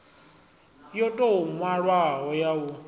yo tou nwalwaho ya u